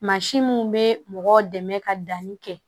Mansin mun bɛ mɔgɔw dɛmɛ ka danni kɛ